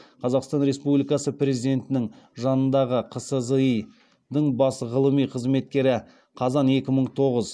қазақстан республикасы президентінің жанындағы қсзи дың бас ғылыми қызметкері